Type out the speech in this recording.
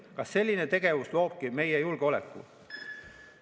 Kas selline tegevus loobki meie julgeoleku?